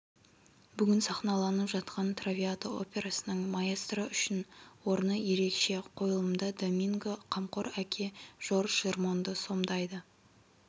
бүгін сахналанып жатқан травиата операсының маэстро үшін орны ерекше қойылымда доминго қамқор әке жорж жермонды сомдайды